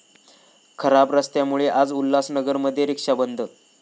खराब रस्त्यांमुळे आज उल्हासनगरमध्ये 'रिक्षा बंद'